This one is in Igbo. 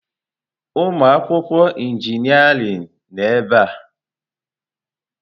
Ụmụ akwụkwọ injịniarịn nọ ebe a.